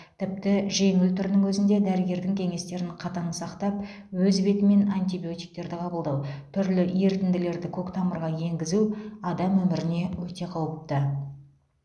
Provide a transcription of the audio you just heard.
тіпті жеңіл түрінің өзінде дәрігердің кеңестерін қатаң сақтап өз бетімен антибиотиктерді қабылдау түрлі ерітінділерді көк тамырға енгізу адам өміріне өте қауіпті